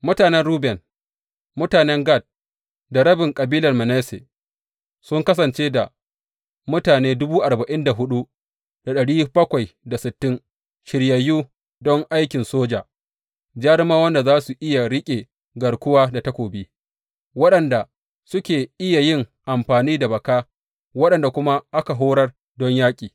Mutanen Ruben, mutanen Gad da rabin kabilar Manasse sun kasance da mutane shiryayyu don aikin soja, jarumawan da za su iya riƙe garkuwa da takobi, waɗanda suke iya yin amfani da baka, waɗanda kuma aka horar don yaƙi.